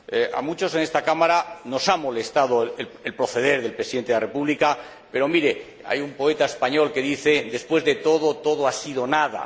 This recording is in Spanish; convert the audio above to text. A muchos en esta Cámara nos ha molestado el proceder del Presidente de la República, pero, mire, hay un poeta español que dice Después de todo, todo ha sido nada